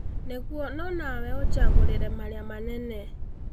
Niguo no nawe ũnjagũrĩre marĩa manene